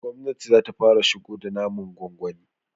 gwamnati zata fara shigo da naman gwangwani